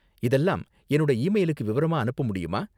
இதெல்லாம் என்னோட இ மெயிலுக்கு விவரமா அனுப்ப முடியுமா